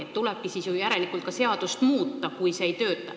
Siis tulebki ju seadust muuta, kui see ei tööta.